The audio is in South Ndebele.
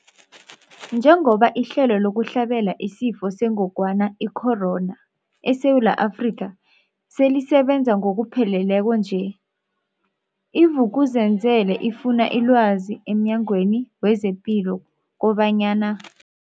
Njengoba ihlelo lokuhlabela isiFo sengogwana i-Corona, i-COVID-19, eSewula Afrika selisebenza ngokupheleleko nje, i-Vuk'uzenzele ifune ilwazi emNyangweni wezePilo kobanyana.